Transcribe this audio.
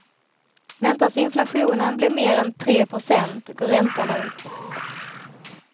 Väntas inflationen bli mer än tre procent går räntorna upp.